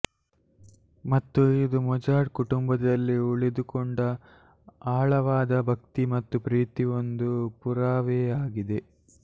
ಮತ್ತು ಇದು ಮೊಜಾರ್ಟ್ ಕುಟುಂಬದಲ್ಲಿ ಉಳಿದುಕೊಂಡ ಆಳವಾದ ಭಕ್ತಿ ಮತ್ತು ಪ್ರೀತಿ ಒಂದು ಪುರಾವೆಯಾಗಿದೆ